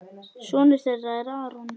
Sonur þeirra er Aron.